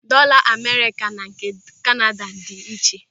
Dọọla Amerịka na nke Kanada dị iche.